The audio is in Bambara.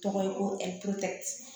Tɔgɔ ye ko ɛpotete